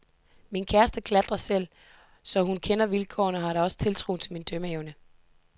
Min kæreste klatrer selv, så hun kender vilkårene, og har da også tiltro til min dømmeevne.